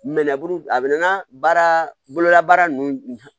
Mɛnɛburu a bɛ nan baara boloda baara ninnu